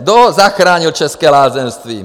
Kdo zachránil české lázeňství?